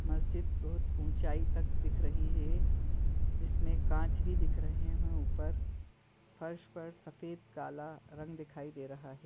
मस्जिद बहुत ऊंचाई तक दिख रही है जिसमे कांच भी दिख रहे है ऊपर फर्श पर सफेद काला रंग दिखाई दे रहा है।